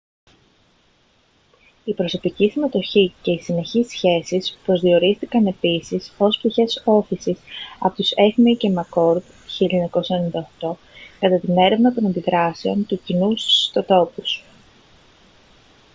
η «προσωπική συμμετοχή» και οι «συνεχείς σχέσεις» προσδιορίστηκαν επίσης ως πτυχές ώθησης από τους eighmey και mccord 1998 κατά την έρευνα των αντιδράσεων του κοινού στους ιστοτόπους